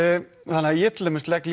þannig að ég til dæmis legg